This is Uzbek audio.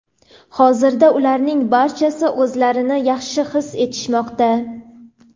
Hozirda ularning barchasi o‘zlarini yaxshi his etishmoqda.